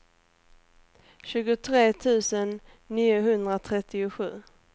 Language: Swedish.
tjugotre tusen niohundratrettiosju